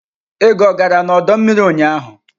Ego gara n'ọdọ mmiri ụnyaahụ?